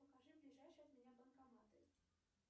покажи ближайшие от меня банкоматы